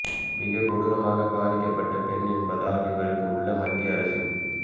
மிக கொடூரமாக பாதிக்கப்பட்ட பெண் என்பதால் இவருக்கு உள்ள மத்திய அரசின்